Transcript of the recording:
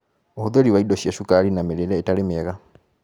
Ũhũthĩri wa indo cia cukari na mĩrĩĩre ĩtarĩ mĩega